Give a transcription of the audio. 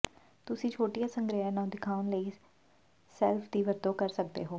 ਤੁਸੀਂ ਛੋਟੀਆਂ ਸੰਗ੍ਰਹਿਾਂ ਨੂੰ ਦਿਖਾਉਣ ਲਈ ਸ਼ੈਲਫ ਦੀ ਵਰਤੋਂ ਕਰ ਸਕਦੇ ਹੋ